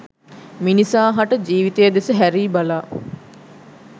මිනිසා හට ජීවිතය දෙස හැරී බලා